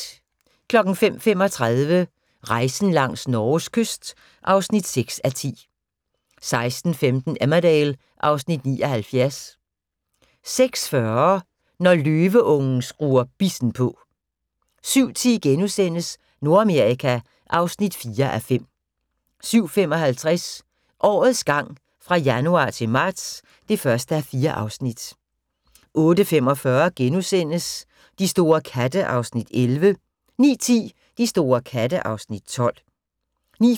05:35: Rejsen langs Norges kyst (6:10) 06:15: Emmerdale (Afs. 79) 06:40: Når løveungen skruer bissen på 07:10: Nordamerika (4:5)* 07:55: Årets gang fra januar til marts (1:4) 08:45: De store katte (Afs. 11)* 09:10: De store katte (Afs. 12) 09:35: